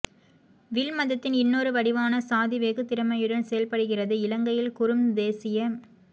will மதத்தின் இன்னொரு வடிவான சாதி வெகு திறமையுடன் செயல்படுகிறது இலங்கையில் குறும் தேசிய